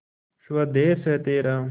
स्वदेस है तेरा